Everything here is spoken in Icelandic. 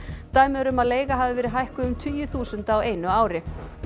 dæmi eru um að leiga hafi verið hækkuð um tugi þúsunda á einu ári